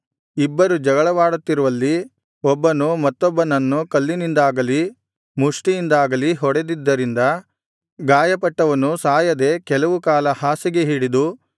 ಇಬ್ಬರು ಜಗಳವಾಡುತ್ತಿರುವಲ್ಲಿ ಒಬ್ಬನು ಮತ್ತೊಬ್ಬನನ್ನು ಕಲ್ಲಿನಿಂದಾಗಲಿ ಮುಷ್ಠಿಯಿಂದಾಗಲೀ ಹೊಡೆದಿದ್ದರಿಂದ ಗಾಯಪಟ್ಟವನು ಸಾಯದೆ ಕೆಲವು ಕಾಲ ಹಾಸಿಗೆ ಹಿಡಿದು